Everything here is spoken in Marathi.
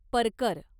परकर